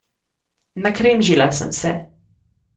Nakremžila sem se.